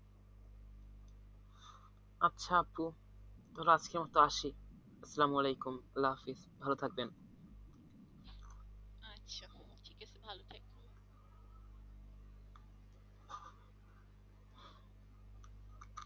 আচ্ছা আপু তাহলে আজকের মতো আসি সালাম ওয়ালাইকুম আল্লাহ হাফিজ ভালো থাকবেন